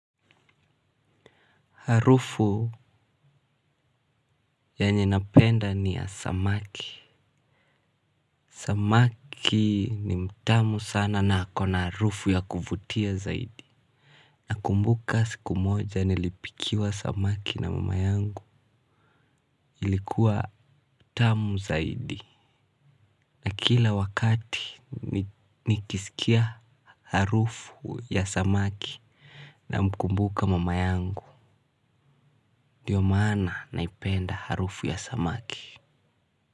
Harufu yenye napenda ni ya samaki. Samaki ni mtamu sana na ako na harufu ya kuvutia zaidi. Nakumbuka siku moja nilipikiwa samaki na mama yangu ilikuwa tamu zaidi. Na kila wakati nikisikia harufu ya samaki namkumbuka mama yangu ndio maana naipenda harufu ya samaki.